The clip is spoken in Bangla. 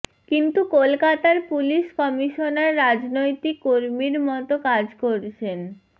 কিন্তু কলকাতার পুলিশ কমিশনার রাজনৈতিক কর্মীর মতো কাজ করছেন